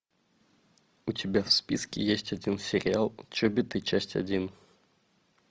у тебя в списке есть один сериал чобиты часть один